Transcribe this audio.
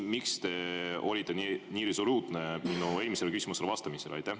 Miks te olite nii resoluutne minu eelmisele küsimusele vastates?